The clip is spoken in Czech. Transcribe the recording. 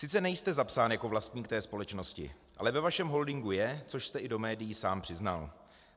Sice nejste zapsán jako vlastník té společnosti, ale ve vašem holdingu je, což jste i do médií sám přiznal.